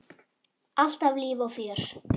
Alltaf líf og fjör.